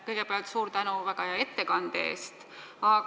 Kõigepealt suur tänu väga hea ettekande eest!